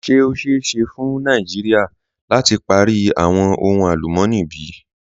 Ṣe o ṣeẹ ṣe fun Nàìjíríà lati pari awọn ohun alùmọ̀ní bí?